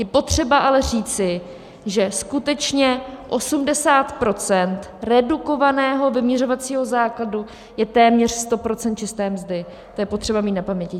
Je potřeba ale říci, že skutečně 80 % redukovaného vyměřovacího základu je téměř 100 % čisté mzdy, to je potřeba mít na paměti.